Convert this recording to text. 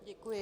Děkuji.